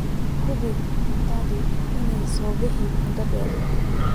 Hubi in cuntadu aanay soo bixin muddo dheer.